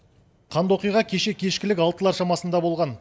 қанды оқиға кеше кешкілік алтылар шамасында болған